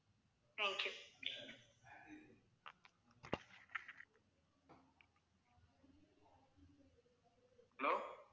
thank you